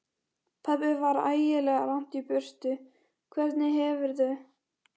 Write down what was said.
Pabbi var ægilega langt í burtu. Hvernig hefurðu.